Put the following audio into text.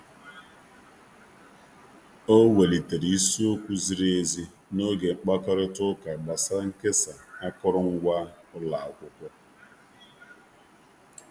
O welitere isi okwu ziri ezi n'oge mkpakorịta ụka gbasara nkesa akụrụngwa ụlọ akwụkwọ.